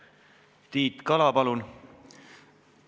Tiit Kala, palun!